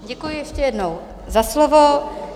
Děkuji ještě jednou za slovo.